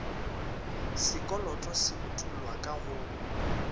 sekoloto se utollwa ka go